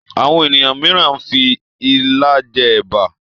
Àwọn ènìyàn míràn fí ìlà jé èbá.